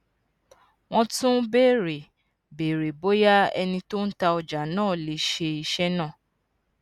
wón tún béèrè béèrè bóyá ẹni tó ń ta ọjà náà lè ṣe iṣé náà